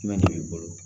Jumɛn de b'i bolo